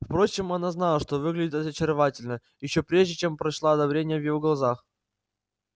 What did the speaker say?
впрочем она знала что выглядит очаровательно ещё прежде чем прочла одобрение в его глазах